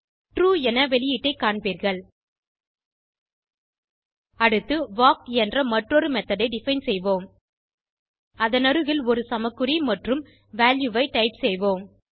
true என்ற வெளியீட்டை காண்பீர்கள் அடுத்து வால்க் என்ற மற்றொரு மெத்தோட் ஐ டிஃபைன் செய்வோம் அதனருகில் ஒரு சமக்குறி மற்றும் ஐ டைப் செய்வோம்